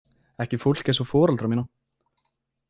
Ekki fólk eins og foreldra mína.